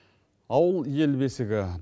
ауыл ел бесігі